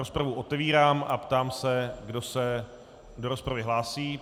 Rozpravu otevírám a ptám se, kdo se do rozpravy hlásí.